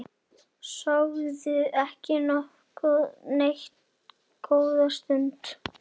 Sögðu ekki neitt góða stund.